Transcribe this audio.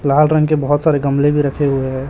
लाल रंग के बहुत सारे गमले भी रखे हुए है।